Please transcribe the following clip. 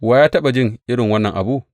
Wa ya taɓa jin irin wannan abu?